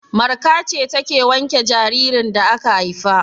Marka ce take wanke jaririn da aka haifa.